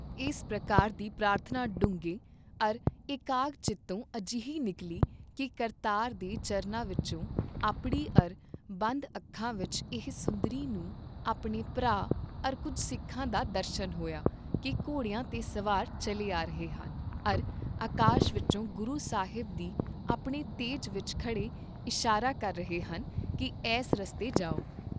ਇਸ ਪ੍ਰਕਾਰ ਦੀ ਪ੍ਰਾਰਥਨਾ ਡੂੰਘੇ, ਅਰ ਏਕਾਗ ਚਿਤੋਂ ਅਜਿਹੀ ਨਿਕਲੀ ਕੀ ਕਰਤਾਰ ਦੇ ਚਰਨਾਂ ਵਿਚ ਅਪੜੀ ਅਰ ਬੰਦ ਅੱਖਾਂ ਵਿਚ ਹੀ ਸੁੰਦਰੀ ਨੂੰ ਆਪਣੇ ਭਰਾ ਅਰ ਕੁੱਝ ਸਿੱਖਾਂ ਦਾ ਦਰਸ਼ਨ ਹੋਇਆ ਕੀ ਘੋੜਿਆਂ ਤੇ ਸਵਾਰ ਚੱਲੇ ਆ ਰਹੇ ਹਨ ਅਰ ਅਕਾਸ਼ ਵਿਚੋਂ ਗੁਰੂ ਸਾਹਿਬ ਦੀ ਆਪਣੇ ਤੇਜ ਵਿਚ ਖੜੇ ਇਸ਼ਾਰਾ ਕਰ ਰਹੇ ਹਨ ਕੀ ਐੱਸ ਰਸਤੇ ਜਾਓ।